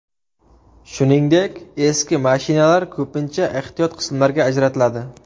Shuningdek, eski mashinalar ko‘pincha ehtiyot qismlarga ajratiladi.